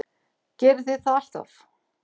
Gerið þið það alltaf?